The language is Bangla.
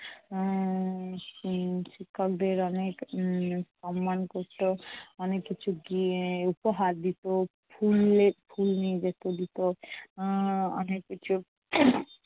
উম শিক্ষকদের অনেক উম সম্মান করতো। অনেক কিছু গি উপহার দিতো। ফুল ফুল নিয়ে যেত দিত। উম অনেক কিছু